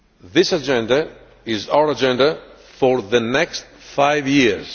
This agenda is our agenda for the next five years.